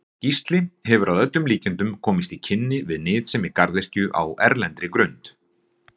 Gísli hefur að öllum líkindum komist í kynni við nytsemi garðyrkju á erlendri grund.